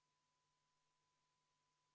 Saame minna 41. muudatusettepaneku juurde.